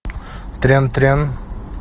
трям трям